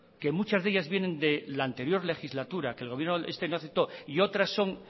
que muchas de ellas vienen de la anterior legislatura que el gobierno este no aceptó y otras son